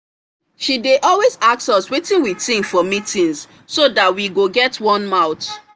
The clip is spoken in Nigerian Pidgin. she dey always ask us wetin we think for meetings so that we go get one mouth